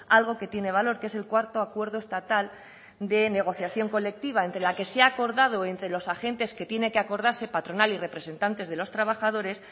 algo que tiene valor que es el cuarto acuerdo estatal de negociación colectiva entre la que se ha acordado entre los agentes que tiene que acordarse patronal y representantes de los trabajadores